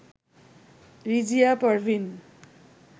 Rizia Parveen